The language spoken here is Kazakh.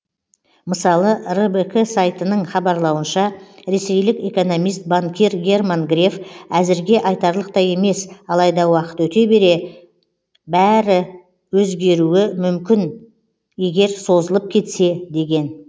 мысалы рбк сайтының хабарлауынша ресейлік экономист банкир герман греф әзірге айтарлықтай емес алайда уақыт өте келе бәрі өзгеруі мүмкін егер созылып кетсе деген